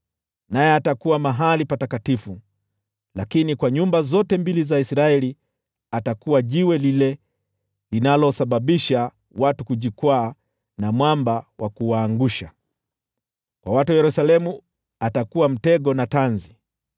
naye atakuwa mahali patakatifu; lakini kwa nyumba zote mbili za Israeli atakuwa jiwe lile linalosababisha watu kujikwaa na mwamba wa kuwaangusha. Kwa watu wa Yerusalemu, atakuwa mtego na tanzi.